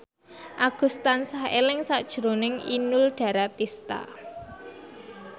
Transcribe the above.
Agus tansah eling sakjroning Inul Daratista